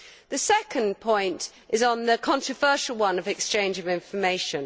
The second point is on the controversial matter of exchange of information.